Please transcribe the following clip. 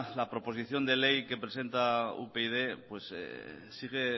la proposición de ley que presenta upyd pues sigue